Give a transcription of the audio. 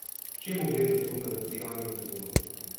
Čemu gre zasluga za sijajno sezono?